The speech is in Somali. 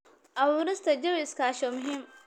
Abuurista jawi iskaashi waa muhiim.